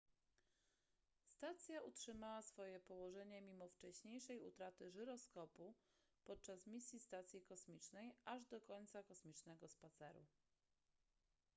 stacja utrzymała swoje położenie mimo wcześniejszej utraty żyroskopu podczas misji stacji kosmicznej aż do końca kosmicznego spaceru